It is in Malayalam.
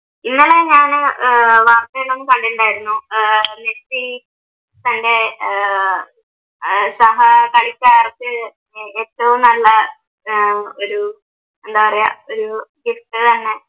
ഇന്നലെ ഞാൻ ആഹ് വാർത്തയിൽ കണ്ടിട്ടുണ്ടായിരുന്നു ആഹ് മെസ്സി തൻ്റെ ആഹ് സഹ കളിക്കാർക്ക് ഏറ്റവും നല്ല ആഹ് ഒരു എന്താ പറയുക ഒരു ഗിഫ്റ്റ് തന്നെ